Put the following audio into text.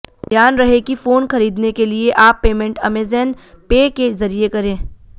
ध्यान रहे कि फोन खरीदने के लिए आप पेमेंट अमेज़न पे के जरिए करें